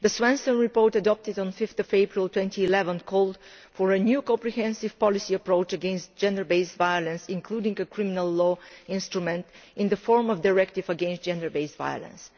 The Svensson report, adopted on 5 April 2011, called for a new comprehensive policy approach against gender based violence, including a criminal law instrument in the form of a directive against gender based violence'.